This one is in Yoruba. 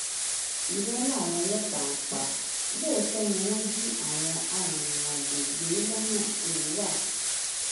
irọ làwọn ọlọpàá ń pa lóòótọ ni wọn jí àwọn arìnrìnàjò gbé lọnà èrúwà